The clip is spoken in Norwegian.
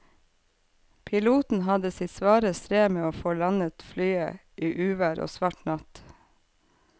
Piloten hadde sitt svare strev med å få landet flyet i uvær og svart natt.